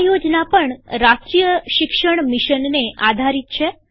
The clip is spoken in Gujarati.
આ યોજના પણ રાષ્ટ્રીય શિક્ષણ મિશનને આધારિત છે